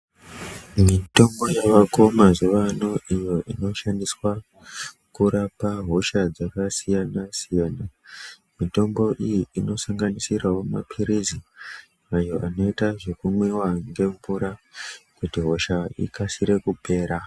Mitombo yavako mazuwa ano iyo inoshandiswa kurapa hosha dzakasiyanasiyana mitombo iyi inosanganisira mapilizi ayo anoita kumwiwa nemvura kuti hosha ikase kupera.